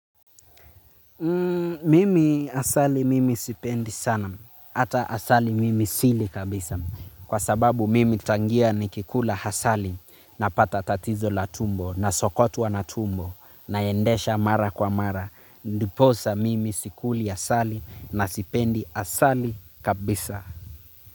Mimi asali mimi sipendi sana, ata asali mimi sili kabisa. Kwa sababu mimi tangia ni kikula hasali napata tatizo la tumbo na sokotwa na tumbo. Naendesha mara kwa mara, ndiposa mimi sikuli asali na sipendi asali kabisa.